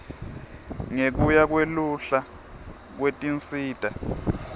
ngekuya kweluhla lwetinsita